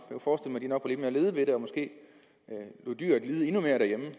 jeg mere lede ved det og måske lod dyret lide endnu mere derhjemme